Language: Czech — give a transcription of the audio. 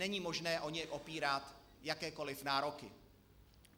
Není možné o něj opírat jakékoliv nároky.